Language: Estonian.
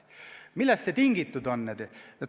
Millest see tingitud on?